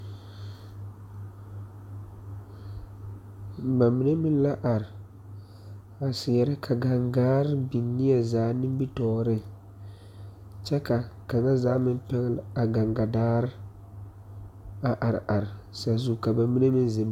Na mine meŋ la are a seɛrɛ ka gaŋgaare biŋ neɛ zaa nimitoore kyɛ ka kaŋa zaa meŋ pɛgle a gaŋga daare a are are saazu ka ba mine meŋ zeŋ.